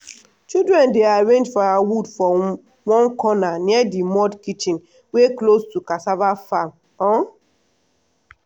children dey arrange firewood for one corner near the mud kitchen wey close to cassava farm. um